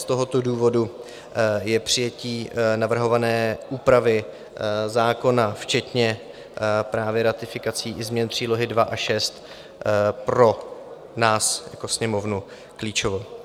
Z tohoto důvodu je přijetí navrhované úpravy zákona včetně právě ratifikací i změn přílohy II a VI pro nás jako Sněmovnu klíčové.